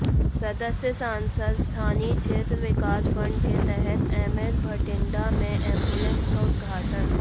सदस्य संसद स्थानीय क्षेत्र विकास फंड के तहत एम्स बठिंडा में एम्बुलेंस का उद्घाटन